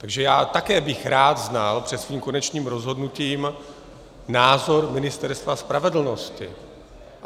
Takže já také bych rád znal před svým konečným rozhodnutím názor Ministerstva spravedlnosti.